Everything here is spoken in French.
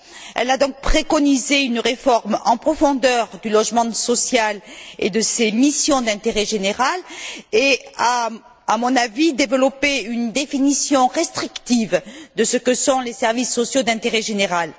Elle a donc préconisé une réforme en profondeur du logement social et de ses missions d'intérêt général et a, à mon avis, développé une définition restrictive de ce que sont les services sociaux d'intérêt général.